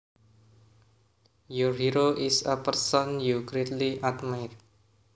Your hero is a person you greatly admire